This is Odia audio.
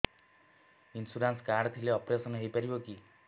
ଇନ୍ସୁରାନ୍ସ କାର୍ଡ ଥିଲେ ଅପେରସନ ହେଇପାରିବ କି